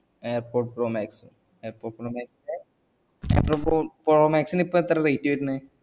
air pod pro max air pod pro max air pod pro pro max ന് ഇപ്പൊ എത്ര rate വർന്നെ